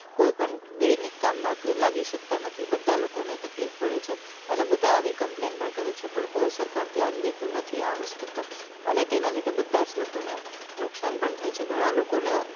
કોઈ પણ દૈનિક કામ મા લાગી શકતા નથી બધા લોકો ને તકલીફ પડે છે અને બધા આવી complain પણ કરે છે પણ કોઈ સરકાર ધ્યાન દેતું નથી આ વસ્તુ પર અને તેના લીધે બધા જ લોકો ને નુકશાન પણ થાય છે ઘણા લોકો ને